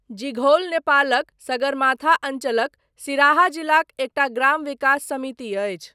जिघौल नेपालक सगरमाथा अञ्चलक सिराहा जिलाक एकटा ग्राम विकास समिति अछि।